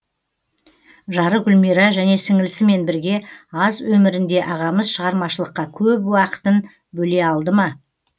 жары гүлмира және сіңлісімен бірге аз өмірінде ағамыз шығармашылыққа көп уақытын бөле алды ма